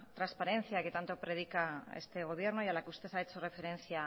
transparencia que tanto predica este gobierno y a la que usted ha hecho referencia